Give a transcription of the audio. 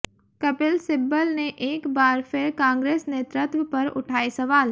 कपिल सिब्बल ने एक बार फिर कांग्रेस नेतृत्व पर उठाए सवाल